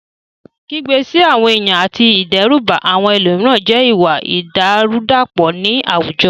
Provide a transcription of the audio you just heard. Kígbe sí àwọn ènìyàn àti ìdẹ́rùbà àwọn ẹlòmíràn jẹ́ ìwà ìdàrúdàpọ̀ ní àwùjọ.